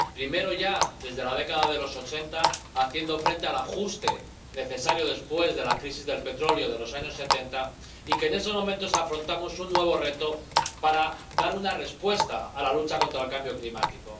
primero ya, en la década de los ochenta, hicimos frente al ajuste necesario después de la crisis del petróleo de los años setenta, y en estos momentos afrontamos un nuevo reto para dar una respuesta a la lucha contra el cambio climático.